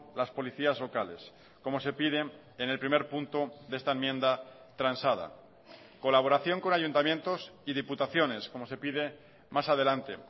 las policías locales como se piden en el primer punto de esta enmienda transada colaboración con ayuntamientos y diputaciones como se pide más adelante